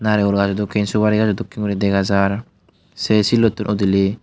narekul gajo dokkin suguri gajo dokkin gori dega jar se sillottun udili.